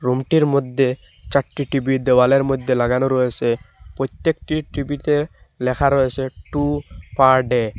Room -টির মধ্যে চারটি টি_ভি দেওয়ালের মইধ্যে লাগানো রয়েসে প্রত্যেকটিই টি_ভি -তে লেখা রয়েছে টু পার ডে ।